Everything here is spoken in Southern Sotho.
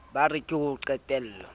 ba re ke ho qetello